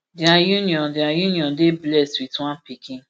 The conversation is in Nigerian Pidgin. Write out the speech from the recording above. dia union dia union dey blessed wit one pikin